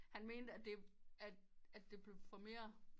Han mente at det at det blev for mere